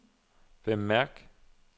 bemærk